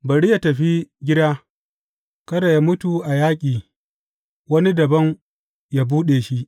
Bari yă tafi gida, kada yă mutu a yaƙi, wani dabam yă buɗe shi.